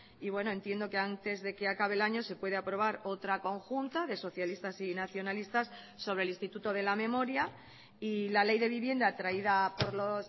y bueno entiendo que antes de que acabe el año se puede aprobar otra conjunta de socialistas y nacionalistas sobre el instituto de la memoria y la ley de vivienda traída por los